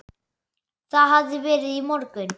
Það hafði verið í morgun.